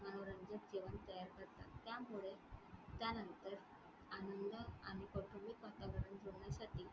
मनोरंजक जेवण तयार करतात त्यामुळे त्यानंतर आनंद आणि कौटुंबिक वातावरण दोन्हीसाठी.